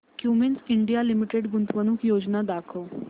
Cummins India Limited गुंतवणूक योजना दाखव